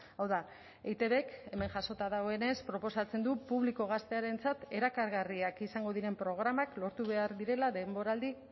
hau da eitbk hemen jasota dagoenez proposatzen du publiko gaztearentzat erakargarriak izango diren programak lortu behar direla denboraldi